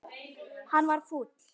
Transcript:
Hann varð fúll.